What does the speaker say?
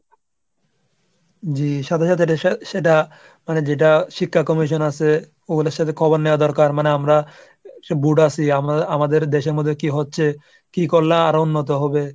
জি, সাথে সাথে সেটা মানে যেটা শিক্ষা commission আছে ওনাদের সাথে খবর নেওয়া দরকার। মানে আমরা যে board আছি আমা~ আমাদের দেশের মধ্যে কি হচ্ছে, কি করলা আরো উন্নত হবে?